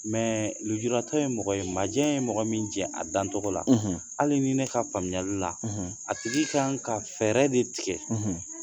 lujuratɔ ye mɔgɔ ye majɛ ye mɔgɔ min jɛ a dancɔgɔ la hali ni ne ka faamuyali la a tigi kan ka fɛɛrɛ de tigɛ